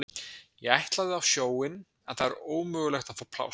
Ég ætlaði á sjóinn en það er ómögulegt að fá pláss.